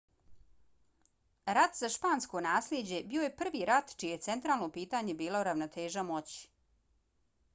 rat za špansko naslijeđe bio je prvi rat čije je centralno pitanje bila ravnoteža moći